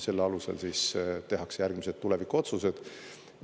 Selle alusel tehakse järgmised tulevikuotsused.